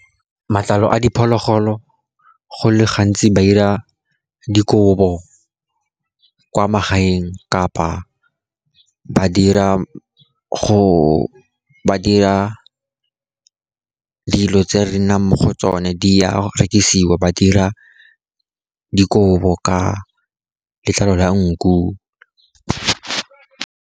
Matlalo a diphologolo go le gantsi ba dira dikobo kwa magaeng, kapa ba dira dilo tse re nnang mo go tsone. Di a rekisiwa, ba dira dikobo ka letlalo la nku.